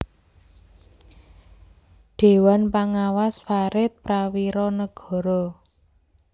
Dhéwan Pangawas Farid Prawiranegara